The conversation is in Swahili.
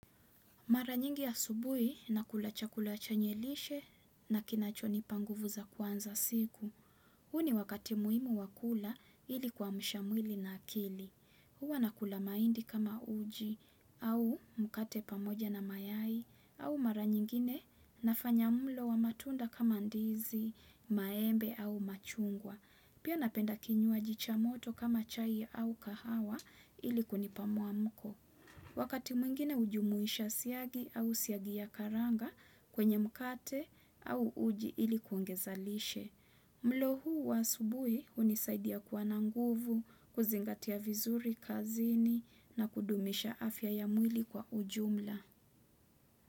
Mara nyingi asubuhi nakula chakula chenye lishe na kinacho nipa nguvu za kuanza siku. Huu ni wakati muhimu wa kula ili kuamsha mwili na akili. Hua nakula mahindi kama uji au mkate pamoja na mayai au mara nyingine nafanya mlo wa matunda kama ndizi, maembe au machungwa. Pia napenda kinyulwaji cha moto kama chai au kahawa ili kunipa muamko. Wakati mwingine hujumuisha siagi au siagi ya karanga kwenye mkate au uji ili kuongeza lishe. Mlo huu wa asubuhi hunisaidia kuwa na nguvu, kuzingatia vizuri kazini na kudumisha afya ya mwili kwa ujumla.